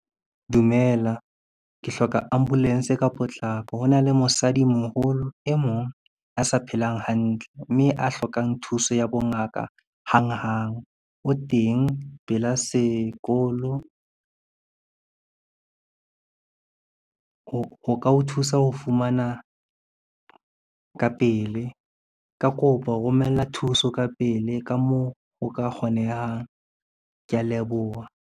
Dumela, ke hloka ambulance ka potlako ho na le mosadi moholo e mong a sa phelang hantle, mme a hlokang thuso ya bongaka hanghang. O teng pela sekolo, ho ka o thusa ho fumana ka pele, ka kopo romella thuso ka pele ka moo o ka kgonehang. Kea leboha.